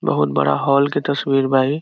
बहुत बड़ा हॉल के तस्वीर बा इ |